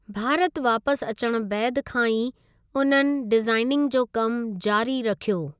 भारत वापसि अचणु बैदि खां ई उन्हनि डिज़ाइनिंग जो कमि जारी रखियो।